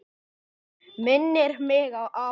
Minnir mig á apa.